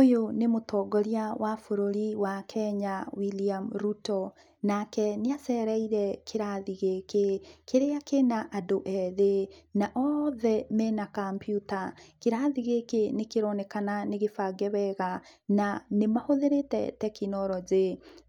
Ũyũ nĩ mũtongoria wa bũrũri wa Kenya, William Ruto. Nake nĩacereire kĩrathi gĩkĩ, kĩrĩa kĩna andũ ethĩ, na othe mena kambiuta. Kĩrathi gĩkĩ nĩkĩroneka nĩgĩbange wega, na nĩmahũthĩrĩte tekinoronjĩ.